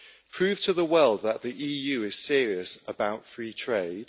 Prove to the world that the EU is serious about free trade.